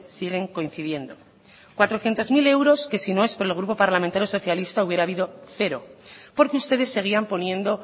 siguen coincidiendo cuatrocientos mil euros que si no es por el grupo parlamentario socialista hubiera habido cero porque ustedes seguían poniendo